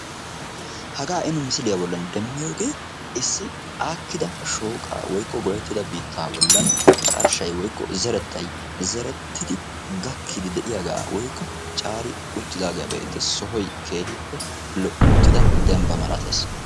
Nu be'iyooge aakkiddi goyyettidda shooqqa bolla cora doozzatti issippe mokkiyagetta.